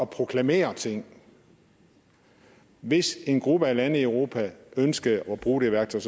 proklamere ting hvis en gruppe af lande i europa ønskede at bruge det værktøj